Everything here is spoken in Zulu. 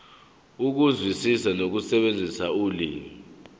ukuzwisisa nokusebenzisa ulimi